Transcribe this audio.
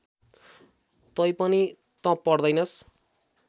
तैपनि तँ पढ्दैनस्